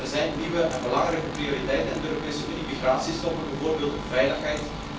Ja, er zijn nieuwe en belangrijke prioriteiten in de Europese Unie migratie stoppen bijvoorbeeld, en veiligheid.